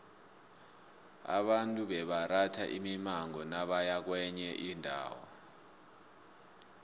abantu bebaratha imimango nabaya kwenye indawo